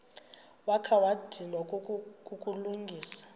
wakha wadinwa kukulungisa